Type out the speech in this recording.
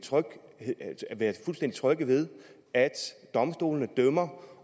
trygge ved at domstolene dømmer